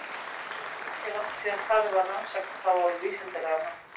Ekki er þó ýkja langt síðan farið var að rannsaka þá á vísindalegan hátt.